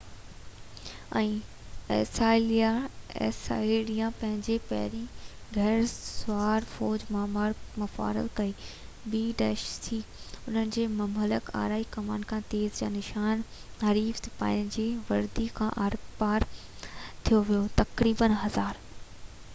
انهن جي مهلڪ آڙي ڪمان کان تير جا نشان حريف سپاهين جي وردي کي آرپار ٿي ڪيو. تقريبن 1000 b.c ۾، اسائيريان پنهنجي پهريئن گُهڙ سوار فوج متعارف ڪئي